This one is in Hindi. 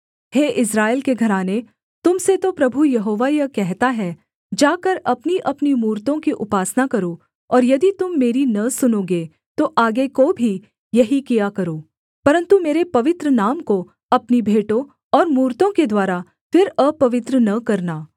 हे इस्राएल के घराने तुम से तो प्रभु यहोवा यह कहता है जाकर अपनीअपनी मूरतों की उपासना करो और यदि तुम मेरी न सुनोगे तो आगे को भी यही किया करो परन्तु मेरे पवित्र नाम को अपनी भेंटों और मूरतों के द्वारा फिर अपवित्र न करना